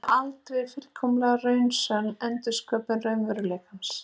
Þau verða aldrei fullkomlega raunsönn endursköpun raunveruleikans.